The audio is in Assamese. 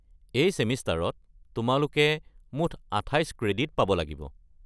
এই ছেমিষ্টাৰত তোমালোকে মুঠ আঠাইচ ক্ৰেডিট পাব লাগিব।